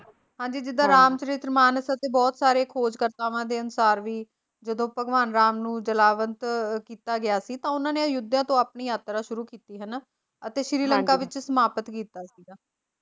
ਹਾਂ ਜੀ ਜਿਦਾਂ ਰਾਮ ਚਰਿਤ ਮਾਨਰ ਅਤੇ ਬਹੁਤ ਸਾਰੇ ਖੋਜਕਰਤਾਵਾਂ ਦੇ ਅਨੁਸਾਰ ਵੀ ਜਦੋ ਭਗਵਾਨ ਨੂੰ ਜਲਾਵਤਨ ਕੀਤਾ ਗਿਆ ਸੀ ਤਾਂ ਉਹਨਾਂ ਨੇ ਅਯੋਧਿਆ ਤੋਂ ਆਪਣੀ ਯਾਤਰਾ ਸ਼ੁਰੂ ਕੀਤੀ ਹੈ ਨਾ ਅਤੇ ਸ਼੍ਰੀ ਲੰਕਾ ਵਿੱਚ ਸਮਾਪਤ ਕੀਤਾ ਸੀ।